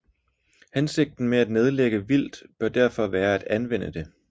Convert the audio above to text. Hensigten med at nedlægge vildt bør derfor være at anvende det